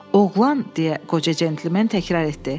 Oğlan deyə qoca centlimen təkrar etdi.